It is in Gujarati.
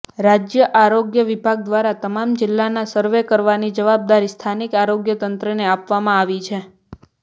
રાજ્ય આરોગ્ય વિભાગ દ્વારા તમામ જિલ્લામાં સર્વે કરવાની જવાબદારી સ્થાનીક આરોગ્ય તંત્રને આપવામાં આવી છે